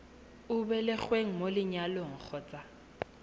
o belegweng mo lenyalong kgotsa